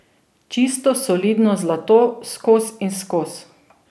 Čisto solidno zlato, skoz in skoz.